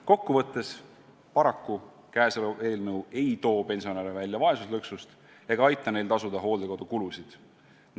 Kokkuvõtteks: paraku ei too käesolev eelnõu pensionäre välja vaesuslõksust ega aita neil tasuda näiteks hooldekodukulusid.